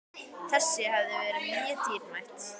Þessi hefð var mjög dýrmæt.